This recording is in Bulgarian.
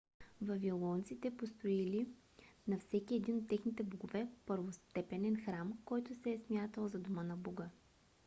вавилонците построили на всеки един от техните богове първостепенен храм който се е смятал за дома на бога